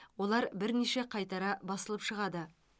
олар бірнеше қайтара басылып шығады